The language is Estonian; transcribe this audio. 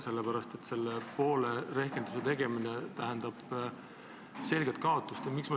Sellepärast, et selle poole rehkenduse tegemine tähendab selget kaotust.